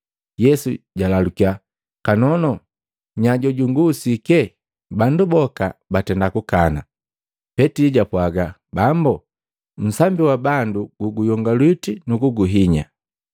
Yesu jalalukiya, “Kanono! Nya jojung'usike?” Bandu boka batenda kukana. Petili japwaaga, “Bambu, nsambi wa bandu guguyongalwiti nukuguhinya.”